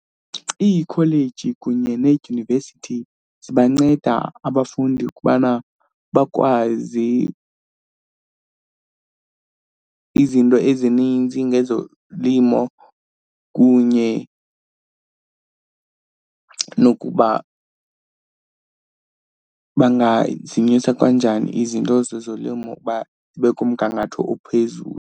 Iikholeji kunye needyunivesithi zibanceda abafundi ukubana bakwazi izinto ezininzi ngezolimo kunye nokuba bangazimisa kanjani izinto zezolimo uba zibe kumgangatho ophezulu.